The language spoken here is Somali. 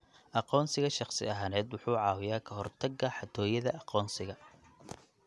Aqoonsiga shakhsi ahaaneed wuxuu caawiyaa ka hortagga xatooyada aqoonsiga.